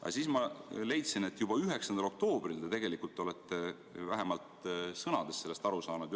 Aga siis ma leidsin, et juba 9. oktoobril te tegelikult olete vähemalt sõnades sellest aru saanud.